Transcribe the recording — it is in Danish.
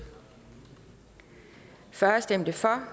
for stemte fyrre